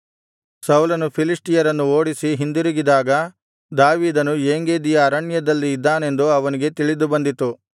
ಸೌಲನು ಫಿಲಿಷ್ಟಿಯರನ್ನು ಓಡಿಸಿ ಹಿಂದಿರುಗಿದಾಗ ದಾವೀದನು ಏಂಗೆದಿಯ ಅರಣ್ಯದಲ್ಲಿ ಇದ್ದಾನೆಂದು ಅವನಿಗೆ ತಿಳಿದುಬಂದಿತು